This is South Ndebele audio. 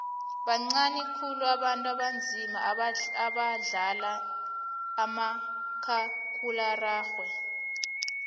bancani khulu abantu abanzima abadlala umakhakhulararhwe